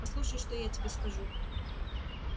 послушай что я тебе скажу